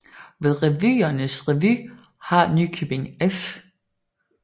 Ved Revyernes Revy har Nykøbing F